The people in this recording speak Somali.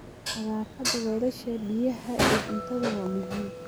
Nadaafadda weelasha biyaha iyo cuntada waa muhiim.